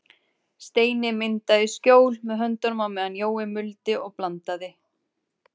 Steini myndaði skjól með höndunum á meðan Jói muldi og blandaði.